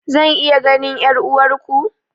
Zan iya ganin 'yar'uwarku?